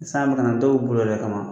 San bɛka na dɔw bɛ boli o yɛrɛ de kama